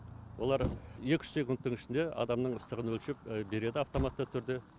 олар екі үш секундтың ішінде адамның ыстығын өлшеп береді автоматты түрде